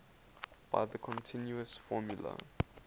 by the continuous formula